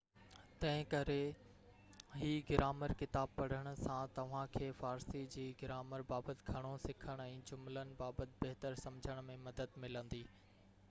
تنهنڪري هي گرامر ڪتاب پڙهڻ سان توهان کي فارسي جي گرامر بابت گهڻو سکڻ ۽ جملن بابت بهتر سمجهڻ ۾ مدد ملندي